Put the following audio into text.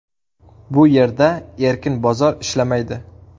Bu yerda erkin bozor ishlamaydi.